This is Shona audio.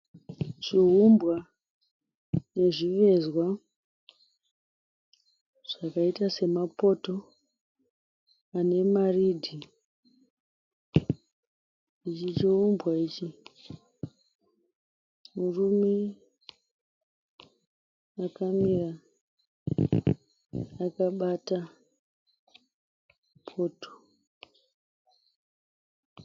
Zviumbwa nezvivezwa zvakaita semapoto ane maridhi. Ichi chiumbwa ichi. Murume akamira akabata poto.